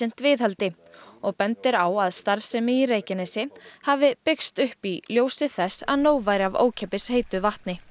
viðhaldi og bendir á að starfsemi á Reykjanesi hafi byggst upp í ljósi þess að nóg væri af ókeypis heitu vatni